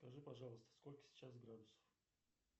скажи пожалуйста сколько сейчас градусов